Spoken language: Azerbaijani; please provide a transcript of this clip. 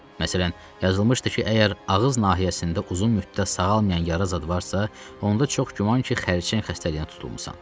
Məsələn, yazılmışdı ki, əgər ağız nahiyəsində uzun müddət sağalmayan yara zad varsa, onda çox güman ki, xərçəng xəstəliyinə tutulmusan.